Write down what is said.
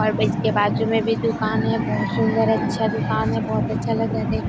और अब इस के बाजु में भी दुकान है बहुत सुन्दर अच्छा दुकान है बहोत अच्छा लग रहा देख--